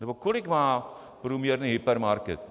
Nebo kolik má průměrný hypermarket?